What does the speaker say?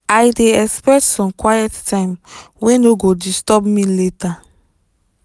i dey expect some quiet time wey no go disturb me later.